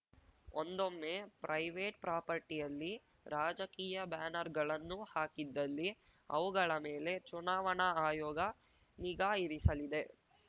ಒಂದೊಮ್ಮೆ ಪ್ರೈವೇಟ್ ಪ್ರಾಪರ್ಟಿಯಲ್ಲಿ ರಾಜಕೀಯ ಬ್ಯಾನರ್ ಗಳನ್ನು ಹಾಕಿದ್ದಲ್ಲಿ ಅವುಗಳ ಮೇಲೆ ಚುನಾವಣಾ ಆಯೋಗ ನಿಗಾ ಇರಿಸಲಿದೆ